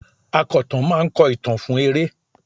Akọ̀tàn máa ń kọ ìtàn fún eré.